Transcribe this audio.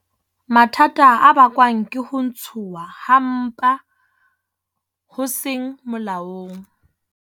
Mathata a bakwang ke ho ntshuwa ha mpa ho seng molaong